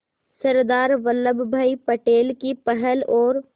सरदार वल्लभ भाई पटेल की पहल और